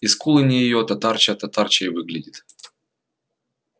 и скулы не её татарча-татарчой выглядит